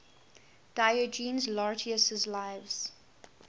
diogenes laertius's lives